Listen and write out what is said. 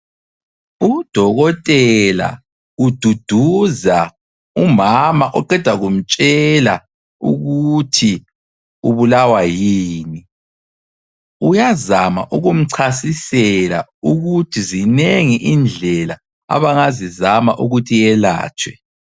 Udokotela ududuza umama oqeda kumtshela ukuthi ubulawa yini. Uyazama ukumchasisela ukuthi zinengi indlela abangazizama ukuthi iyelatshwe.